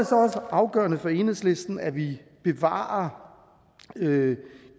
så også afgørende for enhedslisten at vi bevarer